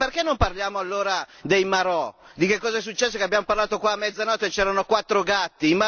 Ma perché non parliamo allora dei marò? Di che cosa è successo che abbiamo parlato qua a mezzanotte e c'erano quattro gatti!